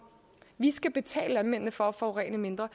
vi skal betale landmændene for at forurene mindre